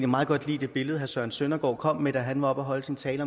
meget godt lide det billede søren søndergaard kom med da han var oppe at holde sin tale